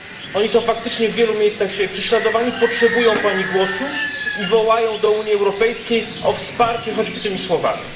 Oni są faktycznie w wielu miejscach dzisiaj prześladowani, potrzebują Pani głosu i wołają do Unii Europejskiej o wsparcie choćby tylko tymi słowami.